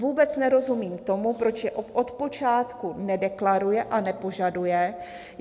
Vůbec nerozumím tomu, proč je od počátku nedeklaruje, a nepožaduje.